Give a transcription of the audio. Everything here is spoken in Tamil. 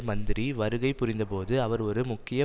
மந்திரி வருகை புரிந்தபோது அவர் ஒரு முக்கிய